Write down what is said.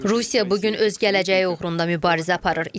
Rusiya bu gün öz gələcəyi uğrunda mübarizə aparır.